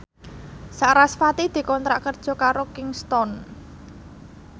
sarasvati dikontrak kerja karo Kingston